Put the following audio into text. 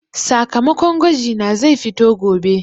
Sakamakon gwaji na zai fito gobe.